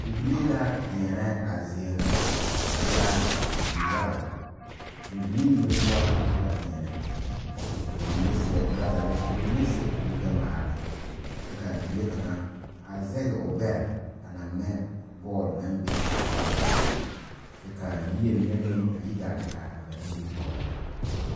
Bibilii la diɛnɛ a zie ŋa. Ba e la bibil yaga. Mɔbilii mene poʊ la ka ba diɛnɛ. Ka ba mene seɛ turazare, ka ba mene seɛ kur gbɛ ŋmaara. Kyɛ ka bibile kanga a zɛge o gbɛre a na ŋmɛ bɔl na be a saazu poʊ. Kyɛ ka a yie mene meŋ a yi gaa te are a ba nimitooreŋ.